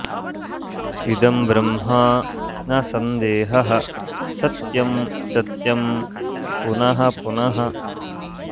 इदं ब्रह्म न सन्देहः सत्यं सत्यं पुनः पुनः